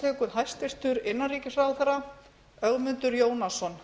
hæstvirtur forseti ég mæli hér fyrir frumvarpi um breytingu á